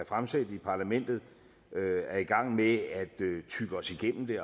fremsat i parlamentet er i gang med at tygge os igennem det